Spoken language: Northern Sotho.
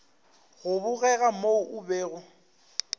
go bogega mo o bego